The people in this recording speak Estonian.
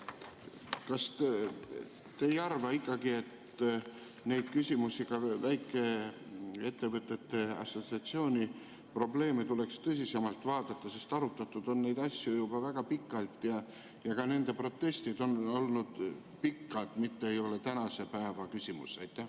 Kas te ikkagi ei arva, et neid küsimusi, ka väikeettevõtete assotsiatsiooni probleeme, tuleks tõsisemalt vaadata, sest arutatud on neid asju juba väga pikalt ja ka nende proteste on olnud pikalt, see ei ole tänase päeva küsimus?